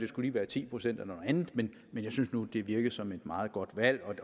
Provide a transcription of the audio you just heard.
skulle være ti procent eller andet men jeg synes nu det virker som et meget godt valg